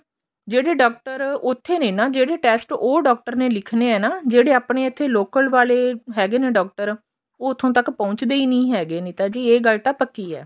ਜਿਹੜੇ ਡਾਕਟਰ ਉੱਥੇ ਨੇ ਨਾ ਜਿਹੜੇ test ਉਹ doctor ਨੇ ਲਿਖਣੇ ਨੇ ਨਾ ਜਿਹੜੇ ਆਪਣੇ ਇੱਥੇ local ਵਾਲੇ ਹੈਗੇ ਨੇ doctor ਉਹ ਉੱਥੋਂ ਤੱਕ ਪਹੁੰਚਦੇ ਹੀ ਨਹੀਂ ਹੈਗੇ ਜੀ ਇਹ ਗੱਲ ਤਾਂ ਪੱਕੀ ਹੈ